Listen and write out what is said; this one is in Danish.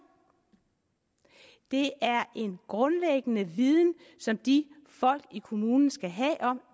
det er en grundlæggende viden som de folk i kommunen skal have om